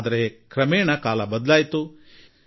ಆದರೆ ಕ್ರಮೇಣ ಸಮಯ ಬದಲಾಗುತ್ತಾ ಹೋಯಿತು